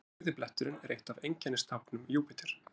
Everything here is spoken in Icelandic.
Rauði bletturinn er eitt af einkennistáknum Júpíter.